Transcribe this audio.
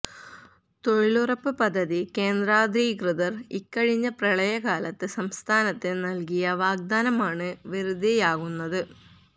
തൊഴിലുറപ്പു പദ്ധതി കേന്ദ്രാധികൃതര് ഇക്കഴിഞ്ഞ പ്രളയകാലത്ത് സംസ്ഥാനത്തിന് നല്കിയ വാഗ്ദാനമാണ് വെറുതെയാകുന്നത്